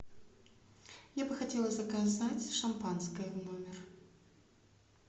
я бы хотела заказать шампанское в номер